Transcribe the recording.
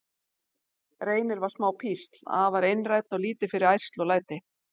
Reynir var smá písl, afar einrænn og lítið fyrir ærsl og læti.